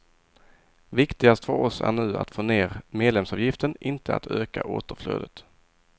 Viktigast för oss är nu att få ner medlemsavgiften, inte att öka återflödet.